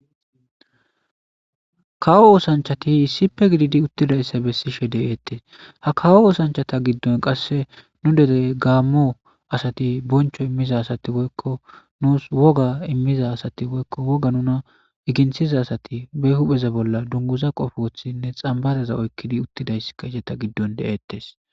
kawo oosanchati sipe gididi uttidayssa bessishe de7eettes ha kawo oosanchata giddon qasse nu dere gaammo asati boncho immiza asati woykko nuus woga immiza asati woykko woga nuna igintiza asati be hupheza bolla dunguza qofothinne xambadaza oykkidi uttidaysska iceta giddon deeettes